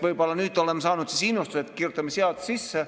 Võib-olla nüüd oleme saanud innustust, et kirjutame seadusesse sisse.